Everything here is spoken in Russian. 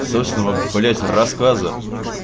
собственного блять рассказа